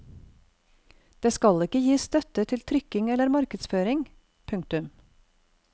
Det skal ikke gis støtte til trykking eller markedsføring. punktum